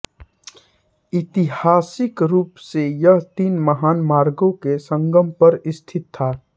ऐतिहासिक रूप से यह तीन महान मार्गों के संगम पर स्थित था